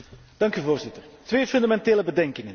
Voorzitter, twee fundamentele bedenkingen.